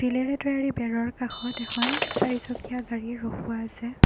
বেৰৰ কাষত এখন চাৰিচকীয়া গাড়ী ৰখোৱা আছে।